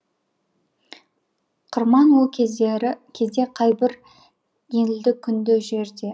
қырман ол кезде қайбір елді күнді жерде